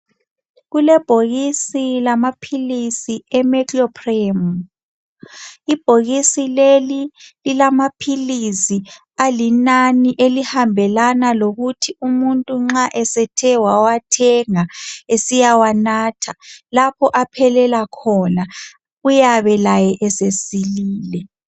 kulebhokisi lama philizi ele Mecloprama ibhokisi leli lilama philizi alinani elihambelana lokuthi umuntu nxa esethe wawathenga esesiyawanatha lapha aphelela khona uyabe laye esesilile